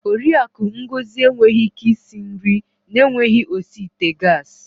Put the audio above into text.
Oriakụ Ngozi enweghị ike isi nri na-enweghị osi ite gas.